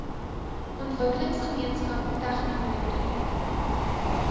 ontwikkelingsgemeenskap tegno nywerhede